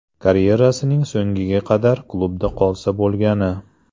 Karyerasining so‘ngiga qadar klubda qolsa bo‘lgani.